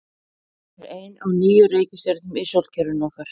Jörðin er ein af níu reikistjörnum í sólkerfi okkar.